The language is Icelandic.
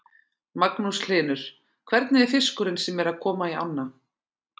Magnús Hlynur: Hvernig er fiskurinn sem er að koma í ána?